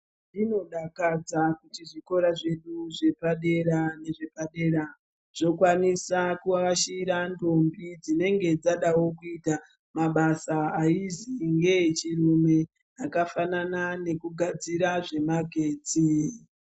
Zvinodakadza kuti zvikora zvedu zvepadera zvokwanisa kuashura ndombi dzinenge dzadawo kuita mabasa ainzwi ngechirume akafanana nekugadzira zvemagetsi.